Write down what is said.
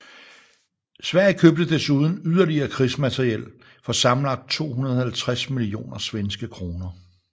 Sverige købte desuden yderligere krigsmateriel for sammenlagt 250 millioner svenske kroner